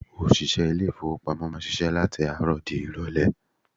Òṣìṣẹ́ ilé-ifowopamo máa ń ṣíṣe láti àárọ̀ di irole.